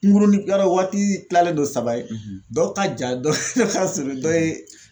Kungurunin waati tilalen don saba ye dɔw ka ja dɔ ka surun dɔ ye